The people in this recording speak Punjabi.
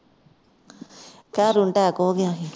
ਖ਼ਰੁ ਨੂੰ attack ਹੋ ਗਿਆ ਸੀ